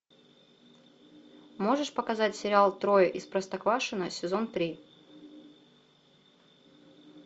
можешь показать сериал трое из простоквашино сезон три